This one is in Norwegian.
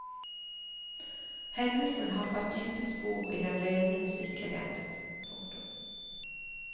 Hendelsen har satt dype spor i den levende musikklegenden. punktum